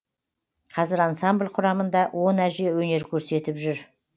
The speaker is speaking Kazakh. қазір ансамбль құрамыңда он әже өнер көрсетіп жүр